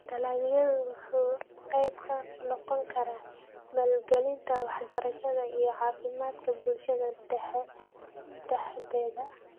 Dalaggu wuxuu qayb ka noqon karaa maalgelinta waxbarashada iyo caafimaadka bulshada dhexdeeda.